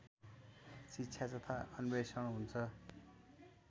शिक्षा तथा अन्वेषण हुन्छ